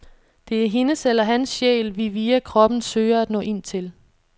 Det er hendes eller hans sjæl, vi via kroppen søger at nå ind til.